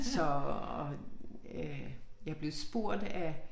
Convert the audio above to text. Så øh jeg blev spurgt af